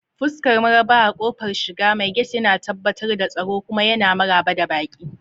Fuskar maraba a ƙofar shiga, mai gate yana tabbatar da tsaro kuma yana maraba da baƙi.